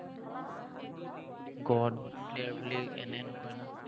god player বুলি এনেই নকয় নহয়।